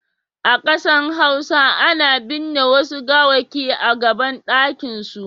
A Kansan hausa ana bin'ne Wasu gawaki a gaban dakin su.